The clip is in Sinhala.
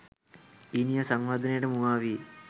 ඊනියා සංවර්ධනයට මුවා වී